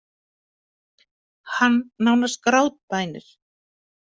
Hann nánast grátbænir.